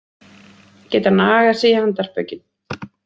Geta nagað sig í handarbökin